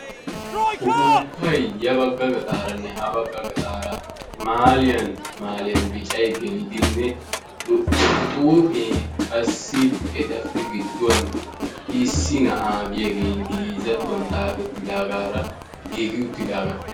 Uppupay ya bagga gaxxaranne ha bagga gaxxaara mahaliyan mahaliyan biccay gelidi xuufe qassi etappe gidduwan issi na'a giyaage Ingilizattuwan xaafetidaagaara giigi uttidaaga.